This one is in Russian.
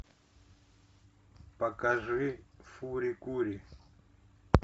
покажи фури кури